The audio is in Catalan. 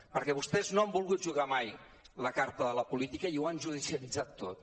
perquè vostès no han volgut jugar mai la carta de la política i ho han judicialitzat tot